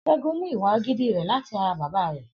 S̩é̩gun mú ìwà agídí rè̩ láti ara bàbá rè̩